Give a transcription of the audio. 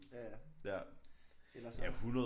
Ja ja. Ellers så